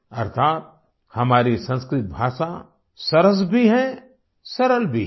अर्थात हमारी संस्कृत भाषा सरस भी है सरल भी है